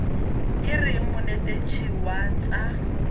e reng monetetshi wa tsa